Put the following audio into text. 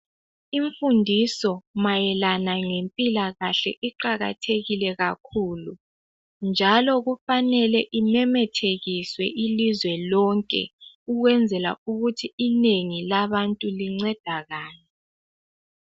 Imfundiso mayelana ngempilakahle iqakathekile kakhulu njalo kufanele imemethekiswe ilizwe lonke ukwenzela ukuthi inengi labantu lincedakale.